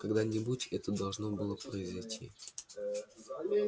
когда-нибудь это должно было произойти